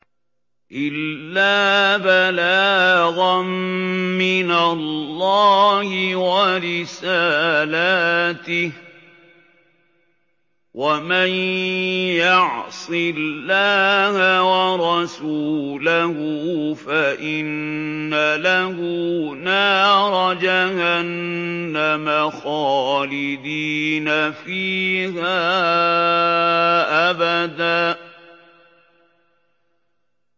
إِلَّا بَلَاغًا مِّنَ اللَّهِ وَرِسَالَاتِهِ ۚ وَمَن يَعْصِ اللَّهَ وَرَسُولَهُ فَإِنَّ لَهُ نَارَ جَهَنَّمَ خَالِدِينَ فِيهَا أَبَدًا